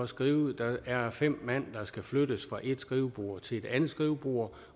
skrive at der er fem mand der skal flyttes fra et skrivebord til et andet skrivebord